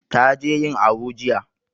Ta je yin awu jiya